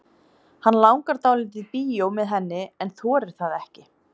Hann langar dálítið í bíó með henni en þorir það ekki.